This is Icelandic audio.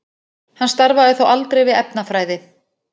Hann starfaði þó aldrei við efnafræði.